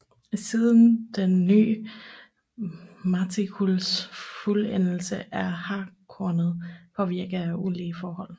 Siden den ny matrikuls fuldendelse er hartkornet påvirket af ulige forhold